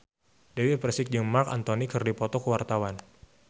Dewi Persik jeung Marc Anthony keur dipoto ku wartawan